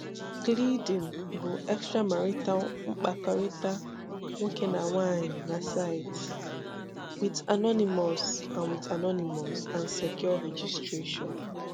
Gleeden bụ extramarital mkpakọrịta nwókè na nwàanyị na saịtị, with anonymous and with anonymous and secure registration.